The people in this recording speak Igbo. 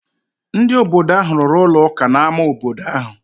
Ndị obodo ahụ rụrụ ụlọ ụka n’ámá obodo ahụ.